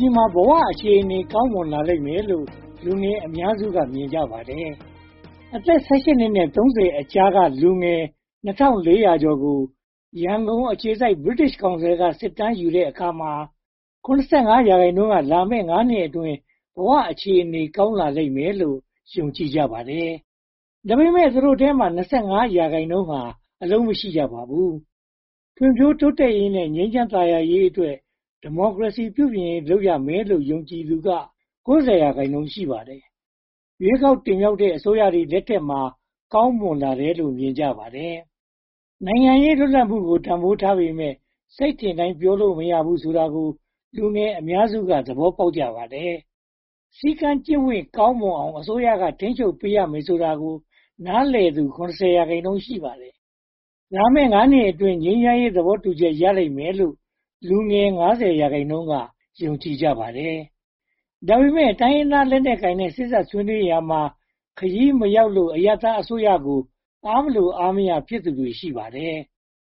ြည်မှာ ဘဝအခြေအနေ ကောင်းမွန်လာလိမ့်လို့ လူငယ်အများစုက မြင်ကြပါတယ်။ အသက် (၁၈) နှစ်နဲ့ (၃၀) ကြားက လူငယ် (၂၄၇၃) ကို ရန်ကုန်အခြေစိုက် British Council က စစ်တမ်းကောက်ယူတဲ့အခါမှာ (၇၅) ရာခိုင်နှုန်းက လာမယ့် (၅) နှစ်အတွင်း ဘဝအခြေအနေ ကောင်းမွန်လာလိမ့်မယ်လို့ ယုံကြည်ကြပါတယ်။ ဒါပေမဲ့ သူတို့အထဲမှာ (၂၅) ရာခိုင်နှုန်းဟာ အလုပ်မရှိကြပါဘူး။ ဖွံ့ဖြိုးတိုးတက်ရေးနဲ့ ငြိမ်းချမ်းသာယာရေးအတွက် ဒီမိုကရေစီ ပြုပြင်ရေး လုပ်ရမယ်လို့ ယုံကြည်သူက (၉၀) ရာခိုင်နှုန်း ရှိပါတယ်။ ရွေးကောက်တင်မြောက်တဲ့ အစိုးရတွေ လက်ထက်မှာ ကောင်းမွန်လာတယ်လို့ မြင်ကြပါတယ်။ နိုင်ငံရေးလွတ်လပ်မှုကို တန်းဖိုးထားပေမယ့် စိတ်ထင်တိုင်းပြောလို့ မရဘူးဆိုတာကို လူငယ်အများစုက သဘောပေါက်ကြပါတယ်။ စည်းကမ်းကျင့်ဝတ် ကောင်းမွန်အောင် အစိုးရ ထိန်းချုပ်ပေးရမယ်ဆိုတာကို နားလည်သူ (၇၀) ရာခိုင်နှုန်း ရှိပါတယ်။ လာမယ့် (၅) နှစ်အတွင်း ငြိမ်းချမ်းရေး သဘောတူညီချက် ရလိမ့်မယ်လို့ လူငယ် (၅၀) ရာခိုင်နှုန်းက ယုံကြည်ကြပါတယ်။ ဒါပေမဲ့ တိုင်းရင်းသားလက်နက်ကိုင်နဲ့ စေ့စပ်ဆွေးနွေးရာမှာ ခရီးမရောက်လို့ အရပ်သားအစိုးရကို အားမလိုအားမရ ဖြစ်သူတွေ ရှိကြပါတယ်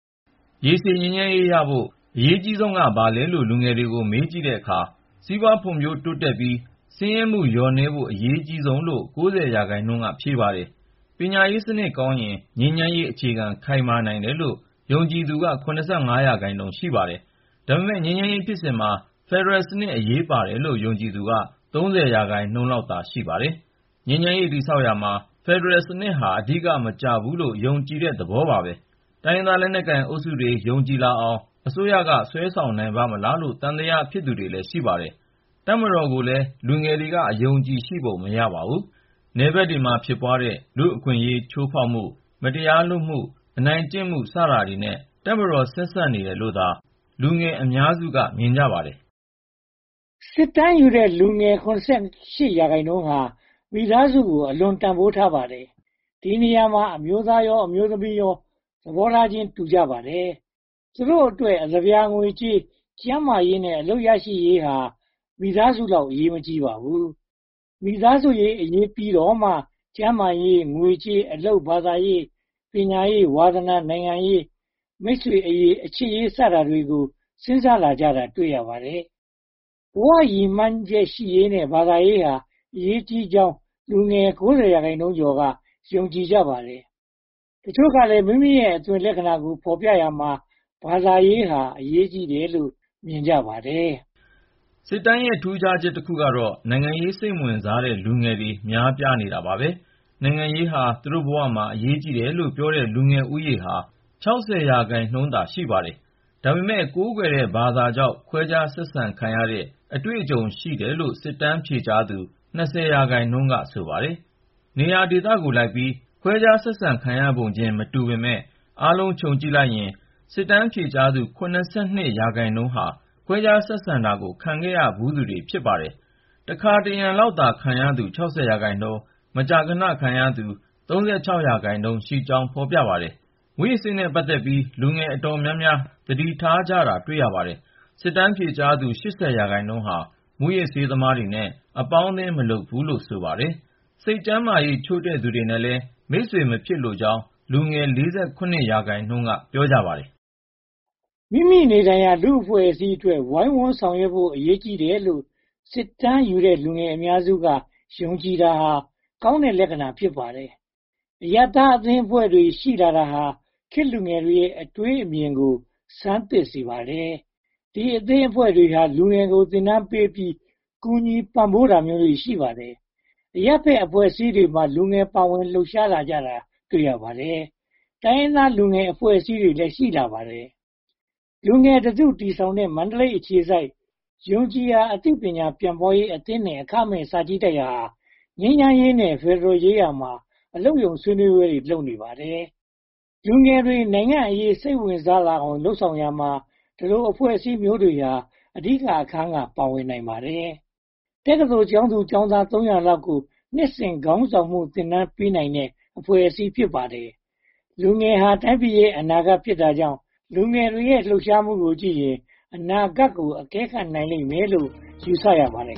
။ ရေရှည်ငြိမ်းချမ်းရေးရဖို့အတွက် အရေးကြီးဆုံးက ဘာလဲလို့ လူငယ်တွေကို မေးကြည့်တဲ့အခါမှာ စီးပွားရေးဖွံ့ဖြိုးတိုးတက်ပြီး၊ ဆင်းရဲမှုလျော့နည်းဖို့ အရေးကြီးဆုံးလို့ (၉၀) ရာခိုင်နှုန်းက ဖြေပါတယ်။ ပညာရေးစနစ်ကောင်းရင် ငြိမ်းချမ်းရေးအခြေခံ ခိုင်မာနိုင်တယ်လို့ ယုံကြည်သူက (၇၅) ရာခိုင်နှုန်း ရှိပါတယ်။ ဒါပေမဲ့ ငြိမ်းချမ်းရေးဖြစ်စဉ်မှာ ဖယ်ဒရယ်စနစ် အရေးပါတယ်လို့ ယုံကြည်သူကတော့ (၃၀) ရာခိုင်နှုန်းလောက်သာ ရှိပါတယ်။ ငြိမ်းချမ်းရေး တည်ဆောက်ရာမှာ ဖယ်ဒရယ်စနစ်ဟာ အဓိကမကျဘူးလို့ ယုံကြည်တဲ့သဘောပါ။ တိုင်းရင်းသားလက်နက်ကိုင်အုပ်စုတွေ ယုံကြည်လာအောင် အစိုးရက ဆွဲဆောင်နိုင်ပါ့မလားလို့ သံသယ ဖြစ်သူတွေလည်း ရှိပါတယ်။ တပ်မတော်ကိုလည်း လူငယ်တွေက အယုံအကြည်ရှိပုံ မရပါဘူး။ နယ်ဘက်မှာ ဖြစ်ပွားသွားတဲ့ လူ့အခွင့်အရေး ချိုးဖျက်မှု၊ မတရားလုပ်မှု၊ အနိုင်ကျင့်မှု စတာတွေနဲ့ တပ်မတော် ဆက်စပ်နေတယ်လို့သာ လူငယ်အများစုက မြင်ကြပါတယ်။ စစ်တမ်းယူတဲ့ လူငယ် (၇၈) ရာခိုင်နှုန်းဟာ မိသားစုကို အလွန်တန်းဖိုးထားပါတယ်။ ဒီနေရာမှာ အမျိုးသားရော၊ အမျိုးသမီးရော သဘောထားချင်း တူနေကြပါတယ်။ သူတို့အတွက် အသပြာငွေကြေး၊ ကျန်းမာရေးနဲ့ အလုပ်ရရှိရေးဟာ မိသားစုလောက် အရေးမကြီးပါဘူး။ မိသားစုအရေးပြီးတော့မှ ကျန်းမာရေး၊ ငွေကြေး၊ အလုပ်၊ ဘာသာရေး၊ ပညာရေး၊ ဝါသနာ၊ နိုင်ငံရေး၊ မိတ်ဆွေအရေး၊ အချစ်ရေး စတာတွေကို စဉ်းစားလာကြတာ တွေ့ရပါတယ်။ ဘဝရည်မှန်းချက်ရှိရေးနဲ့ ဘာသာရေးဟာ အရေးကြီးကြောင်း လူငယ် (၉၃) ရာခိုင်နှုန်းက ယုံကြည်ကြပါတယ်။ တချို့ကလည်း မိမိရဲ့အသွင်လက္ခဏာကို ဖော်ပြရာမှာ ဘာသာရေးဟာ အရေးကြီးတယ်လို့ မြင်ကြပါတယ်။ စစ်တမ်းရဲ့ ထူးခြားချက်တစ်ခုကတော့ နိုင်ငံရေးစိတ်မဝင်စားတဲ့ လူငယ်တွေ များပြားနေတာပါပဲ နိုင်ငံရေးဟာ သူတို့ဘဝမှာ အရေးကြီးတယ်လို့ပြောတဲ့ လူငယ်ဦးရေဟာ (၆၀) ရာခိုင်နှုန်းသာ ရှိပါတယ်။ ဒါပေမဲ့ မိမိကိုးကွယ်တဲ့ ဘာသာကြောင့် ခွဲခြားဆက်ဆံခံရတဲ့ အတွေ့အကြုံ ရှိတယ်လို့ စစ်တမ်းဖြေကြားသူ (၂၀) ရာခိုင်နှုန်းက ဆိုပါတယ်။ ရောဒေသကိုလိုက်ပြီး ခွဲခြားဆက်ဆံပုံခြင်း မတူကြပေမယ့် အားလုံခြုံကြည့်လိုက်ရင် စစ်တမ်းဖြေကြားသူ (၇၂) ရာခိုင်နှုန်းဟာ ခွဲခြားဆက်ဆံတာကို ခံရဖူးတယ်လို့ ဆိုပါတယ်။ တခါတရံ ခံရသူ (၆၀) ရာခိုင်နှုန်း၊ မကြာခဏ ခံရဖူးသူ (၃၆) ရာခိုင်နှုန်းရှိကြောင်း ဖော်ပြပါတယ်။ မူးယစ်ဆေးနဲ့ ပတ်သက်ပြီး လူငယ်အတော်များများ သတိထားကြတာ တွေ့ရပါတယ်။ စစ်တမ်းဖြေကြားသူ လူငယ် (၈၀) ရာခိုင်နှုန်းဟာ မူးယစ်ဆေးသမားတွေနဲ့ အပေါင်းအသင်း မလုပ်ဖူးလို့ ဆိုပါတယ်။ စိတ်ကျန်းမာရေး ချို့တဲ့သူတွေနဲ့လည်း မိတ်ဆွေမဖြစ်လိုကြောင်း လူငယ် (၄၇) ရာခိုင်နှုန်း ပြောပါတယ်။ မိမိနေထိုင်ရာ လူ့အဖွဲ့အစည်းအတွက် ဝိုင်းဝန်းဆောင်ရွက်ဖို့ အရေးကြီးတယ်လို့ စစ်တမ်းယူခံရတဲ့ လူငယ်အများစုက ယုံကြည်တာဟာ ကောင်းတဲ့လက္ခဏာ ဖြစ်ပါတယ်။ အရပ်သားအသင်းအဖွဲ့တွေ ရှိလာတာဟာ ခေတ်လူငယ်ရဲ့ အတွေးအမြင်ကို ဆန်းသစ်စေပါတယ်။ ဒီအသင်းအဖွဲ့တွေဟာ လူငယ်ကို သင်တန်းပေးပြီး ကူညီပံ့ပိုးပေးတာတွေ ရှိပါတယ်။ အရပ်ဘက်အဖွဲ့အစည်းတွေမှာ လူငယ်တွေ ပါဝင်လှုပ်ရှားလာကြတာ တွေ့ရပါတယ်။ တိုင်းရင်းသား လူငယ်အဖွဲ့အစည်းတွေလည်း ရှိလာပါတယ်။ လူငယ်တစုတည်ထောင်ထားတဲ့ မန္တလေးအခြေစိုက် “ယုံကြည်ရာ အသိပညာ ပြန်ပွားရေးအသင်းနှင့် အခမဲ့စာကြည်တိုက်” ဟာ ငြိမ်းချမ်းရေးနဲ့ ဖယ်ဒရယ်ရေးရာ အလုပ်ရုံဆွေးနွေးပွဲ လုပ်နေပါတယ်။ လူငယ်တွေ နိုင်ငံ့အရေး စိတ်ဝင်စားအောင် လုပ်ဆောင်ရာမှာ ဒီလိုအဖွဲ့အစည်းမျိုးတွေဟာ အဓိက အခန်းမှာ ပါဝင်နိုင်ပါတယ်။ တက္ကသိုလ် ကျောင်းသူကျောင်းသား သုံးရာလောက်ကို နှစ်စဉ်ခေါင်းဆောင်မှု သင်တန်းပေးနိုင်တဲ့ အဖွဲ့အစည်း ဖြစ်ပါတယ်။ လူငယ်ဟာ တိုင်းပြည်ရဲ့ အနာဂတ်ဖြစ်တာမို့ လူငယ်တွေရဲ့ လှုပ်ရှားမှုကိုကြည့်ရင် မြန်မာပြည်ရဲ့ အနာဂတ်ကို အကဲခတ်နိုင်မယ်လို့ ယူဆရပါတယ်